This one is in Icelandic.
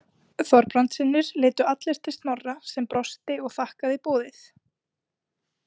Þorbrandssynir litu allir til Snorra sem brosti og þakkaði boðið.